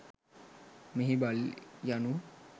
මෙහි බලි යනු